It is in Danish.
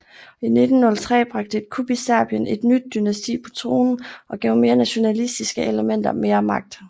I 1903 bragte et kup i Serbien et nyt dynasti på tronen og gav mere nationalistiske elementer mere magt